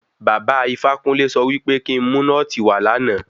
Baba Ifákúnle sọ wí pé kí n mu nọ́ọ̀tì wá lánàá.